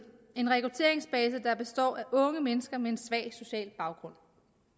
en rekrutteringsbase der består af unge mennesker med en svag social baggrund